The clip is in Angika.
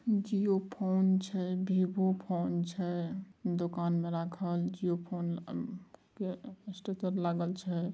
जियो फोन छै विवो फोन छै दुकान मे राखल जियो फोन के स्टेचर लागल छै।